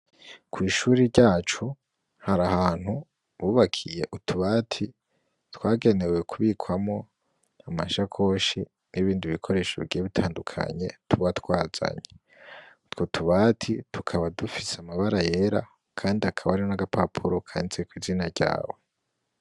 Kw'ishure ryacu hari ahantu bubakiye utubati twagenewe kubikwamwo amasakoshi n'ibindi bikoresho bigiye bitandukanye tuba twazanye. Utwo tubati tukaba dufise amabara yera kandi hakaba hari n'agapapuro kanditseko izina ryawe.